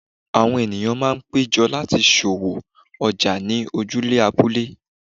Àwọn ènìyàn máa ń péjọ láti ṣòwò ọjà ní ojúde abúlé.